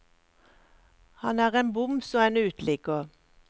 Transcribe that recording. Han er en boms og en uteligger.